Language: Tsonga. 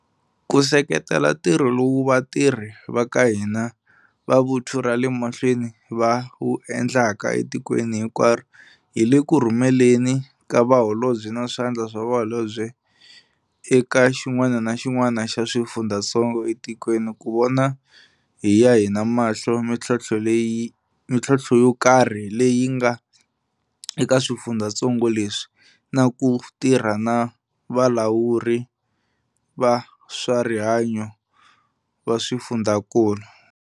Ku seketela ntirho lowu vatirhi va ka hina va vuthu ra le mahlweni va wu endlaka etikweni hinkwaro hi le ku rhumeleni ka Vaholobye na Swandla swa Vaholobye eka xin'wana na xin'wana xa swifundzatsongo etikweni ku vona hi ya hina mahlo mitlhontlho yo karhi leyi nga eka swifundzatsongo leswi na ku tirha na valawuri va swa rihanyo va swifundzakulu.